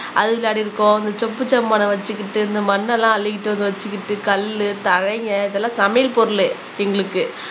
அது விளையாடிருக்கோம் இந்த சொப்பு சாம்மானம் வச்சுக்கிட்டு இந்த மண்ணெல்லாம் அள்ளிக்கிட்டு வந்து வச்சுக்கிட்டு கல்லு தலைங்க இதெல்லாம் சமையல் பொருளு எங்களுக்கு